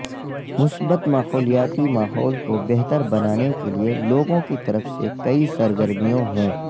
مثبت ماحولیاتی ماحول کو بہتر بنانے کے لئے لوگوں کی طرف سے کئے سرگرمیوں ہے